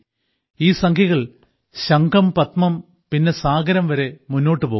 ഈ സംഖ്യകൾ ശംഖം പദ്മം പിന്നെ സാഗരം വരെ മുമ്പോട്ട് പോകുന്നു